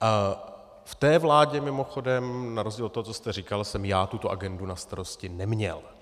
V té vládě mimochodem na rozdíl od toho, co jste říkal, jsem já tuto agendu na starosti neměl.